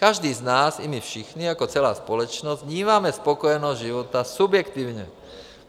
Každý z nás, i my všichni jako celá společnost, vnímáme spokojenost života subjektivně.